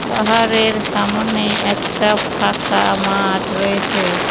পাহাড়ের সামনে একটা ফাঁকা মাঠ রয়েছে।